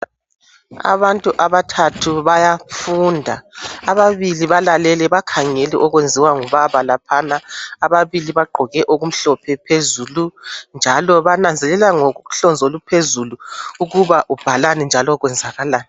Abantu abathathu bayafunda ababili balalele bakhangele okwenziwa ngubaba laphana ababili bagqoke okumhlophe phezulu njalo bananzelela ngohlonzi oluphezulu ukuba ubhalani njalo kwenzakalani.